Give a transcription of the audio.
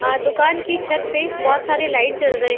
दुकान के छत में बोहोत सारी लाइट जल रहे --